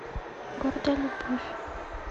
гордая любовь